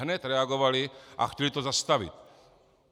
Hned reagovali a chtěli to zastavit.